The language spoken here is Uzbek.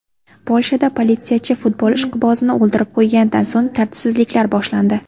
Polshada politsiyachi futbol ishqibozini o‘ldirib qo‘yganidan so‘ng tartibsizliklar boshlandi.